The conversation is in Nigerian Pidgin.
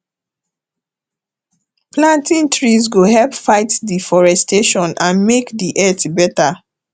planting trees go help fight deforestation and make di earth better